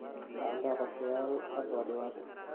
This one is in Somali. La'aanta qorshayaal cad waa dhibaato.